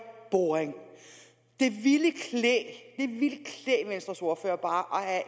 boring det ville klæde venstres ordfører bare at